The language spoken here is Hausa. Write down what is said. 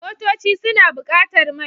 Motoci suna buƙatar mai.